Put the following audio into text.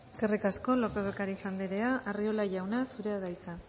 eskerrik asko lópez de ocariz andrea arriola jauna zurea da hitza